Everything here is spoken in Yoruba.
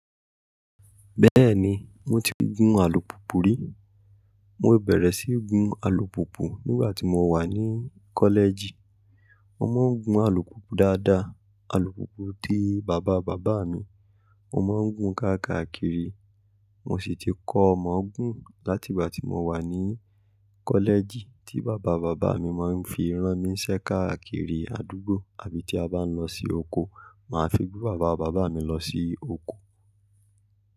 Bẹ́ẹ̀ni, mo ti gún alùpùpù rí. Mo bẹ̀rẹ̀ sí gun alùpùpù nígbà tí mo wà ní kọ́lẹ́ẹ̀jì. Mo máa ń gun alùpùpù dáadáa, alùpùpù ti bàba bàbá mi. Mo máa ń gùn ka káàkiri, mo sì ti kọ́ o mọ gún láti ìgbà tí mo wà ní kọ́lẹ́ẹ̀jì tí bàba bàbá mi máa ń fi rán mí ń ṣẹ́ káàkiri àdúgbò àbí tí a bá ń lọ sí oko, màá fi gbé bàba bàbá mi lọ sí oko.